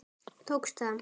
Tókst það.